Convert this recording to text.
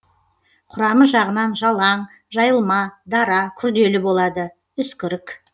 құрамы жағынан жалаң жайылма дара күрделі болады үскірік